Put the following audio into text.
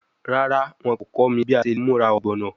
Rara, wọn ko kọ mi bi a ṣe le mura ogbono